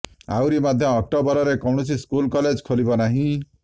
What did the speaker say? ଆହୁରି ମଧ୍ୟ ଅକ୍ଟୋବରରେ କୌଣସି ସ୍କୁଲ କଲେଜ ଖୋଲିବ ନାହିଁ